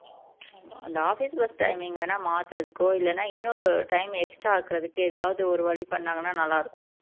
அந்த office work timing அ வேணும்னா மாத்துறதுக்கோ இல்லன்னா இன்னொரு time extra ஆக்குறதுக்கு எதாவதொரு வழி பண்ணாங்கன்னா நல்லா இருக்கும்